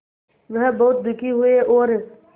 वह बहुत दुखी हुए और